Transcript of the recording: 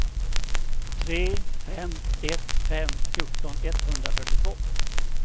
tre fem ett fem fjorton etthundrafyrtiotvå